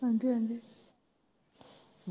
ਹਾਂਜੀ ਹਾਂਜੀ।